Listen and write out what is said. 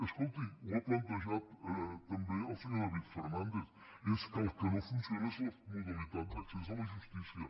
escolti ho ha plantejat tam·bé el senyor david fernàndez és que el que no fun·ciona és la modalitat d’accés a la justícia